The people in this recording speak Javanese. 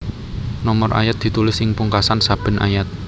Nomor ayat ditulis ing pungkasan saben ayat